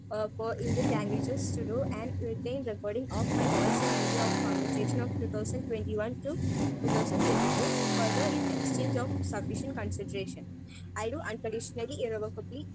Speaker 1 a four Indian languages to do and written recording of my voice and video of conversation of two thousand twenty one to two thousand twenty two. Further, in exchange of sufficient consideration, I do unconditionally irrevocably.